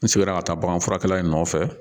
N sigira ka taa bagan furakɛ nɔfɛ